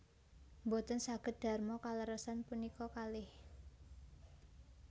Mboten saged darma kaleresan punika kalih